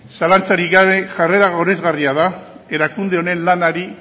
zalantzarik gabe jarrera goresgarria da erakunde honen lanari